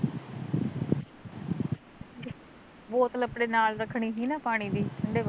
ਬੋਤਲ ਅਪਣੇ ਨਾਲ਼ ਰੱਖਣੀ ਸੀ ਨਾ ਪਾਣੀ ਦੀ ਠੰਡੇ ਪਾਣੀ